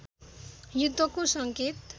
युद्धको संकेत